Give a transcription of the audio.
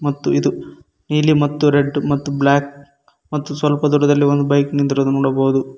ಮತ್ತು ಇದು ನೀಲಿ ಮತ್ತು ರೆಡ್ ಮತ್ತು ಬ್ಲಾಕ್ ಮತ್ತು ಸ್ವಲ್ಪ ದೊಡ್ಡದಲ್ಲಿ ಒಂದು ಬೈಕ್ ನಿಂದಿರುದು ನೋಡಬಹುದು.